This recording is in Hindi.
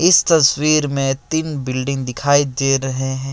इस तस्वीर में तीन बिल्डिंग दिखाई दे रहे हैं।